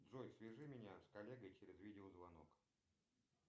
джой свяжи меня с коллегой через видеозвонок